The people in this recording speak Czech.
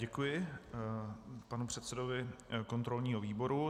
Děkuji panu předsedovi kontrolního výboru.